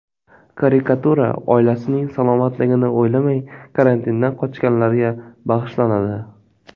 Karikatura: Oilasining salomatligini o‘ylamay, karantindan qochganlarga bag‘ishlanadi.